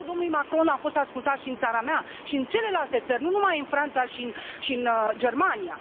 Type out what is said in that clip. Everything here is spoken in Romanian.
Mesajul domnului Macron a fost ascultat și în țara mea și în celelalte țări, nu numai în Franța și în Germania.